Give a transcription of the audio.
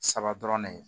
Saba dɔrɔn ne ye